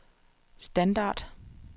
standard